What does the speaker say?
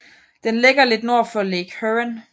Den ligger lidt nord for Lake Huron